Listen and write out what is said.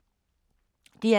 DR K